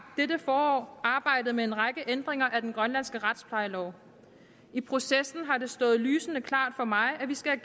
dette forår arbejdet med en række ændringer af den grønlandske retsplejelov i processen har det stået lysende klart for mig at vi skal